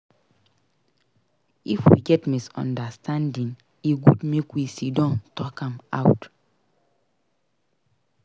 If we get misunderstanding e good make we sidon talk am out.